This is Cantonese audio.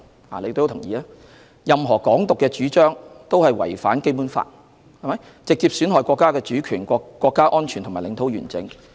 大家也會同意，任何"港獨"主張均違反《基本法》，直接損害國家主權、國家安全及領土完整。